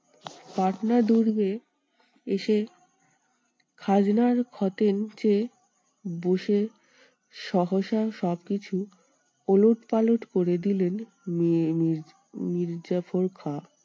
পাটনা দুর্গে এসে খাজনার খতিয়ান চেয়ে বসে সহসা সবকিছু ওলটপালট করে দিলেন মি~ মীর~ মীরজাফর খাঁ।